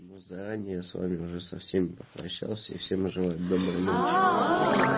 ну заранее с вами уже со всеми попрощался и всем желаю доброй ночи